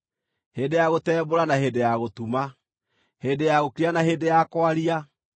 hĩndĩ ya gũtembũra na hĩndĩ ya gũtuma, hĩndĩ ya gũkira na hĩndĩ ya kwaria,